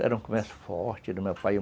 Era um começo forte do meu pai.